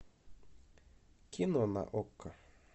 кино на окко